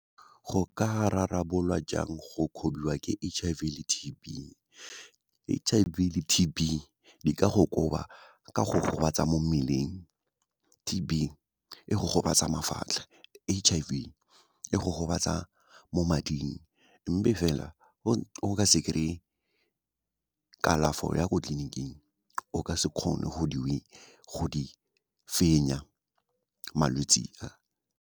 Go ka rarabolwa jang go kgobiwa ke H_I_V le T_B, H_I_V le T_B di ka go koba ka go gobatsa mo mmeleng, T_B e go gobatsa mafatlha, H_I_V e go gobatsa mo mading, mme fela go ka se kry-e kalafo ya ko tleliniking, o ka se kgone go di fenya malwetse a.